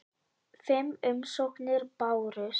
Fimm umsóknir bárust.